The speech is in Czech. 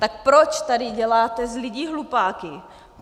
Tak proč tady děláte z lidí hlupáky?